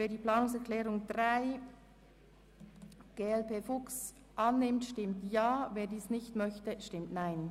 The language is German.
Wer die Planungserklärung 3 annehmen will, stimmt Ja, wer diese ablehnt, stimmt Nein.